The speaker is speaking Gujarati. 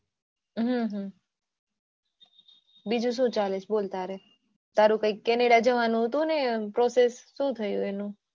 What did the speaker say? હમ બીજું શું ચાલે છે તારે તારે પેલું canada જવાનું process શું થયું એનું?